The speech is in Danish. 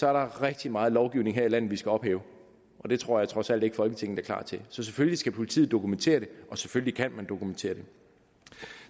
er der rigtig meget lovgivning her i landet vi skal ophæve og det tror jeg trods alt ikke folketinget er klar til så selvfølgelig skal politiet dokumentere det og selvfølgelig kan politiet dokumentere det